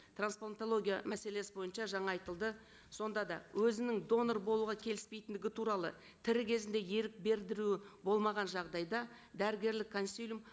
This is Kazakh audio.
трансплантология мәселесі бойынша жаңа айтылды сонда да өзінің донор болуға келіспейтіндігі туралы тірі кезінде ерік білдіру болмаған жағдайда дәрігерлік консилиум